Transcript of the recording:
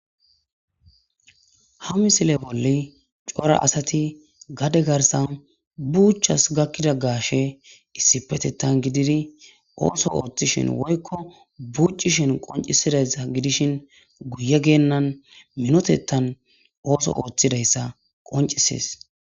Ha misile bolli cora asati gade garsan buuchas gakkida gaashe issipetettan gididi ooso ooththishin woykko buucishin qoncisidayssa gidishin guye geennan minotettan ooso ooththidayssa qoncisees.